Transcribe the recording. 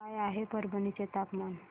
काय आहे परभणी चे तापमान